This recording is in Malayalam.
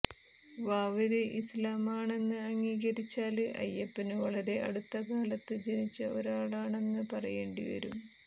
വാവര് ഇസ്ലാമാണെന്ന് അംഗീകരിച്ചാല് അയ്യപ്പന് വളരെ അടുത്തകാലത്ത് ജനിച്ച ഒരാളാണെന്ന് പറയേണ്ടിവരും